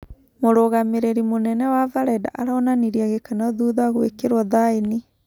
Mũrũgamĩrĩri mũnene wa-Valeda aronanirie gĩkeno thutha gũĩkĩrwo thaĩni.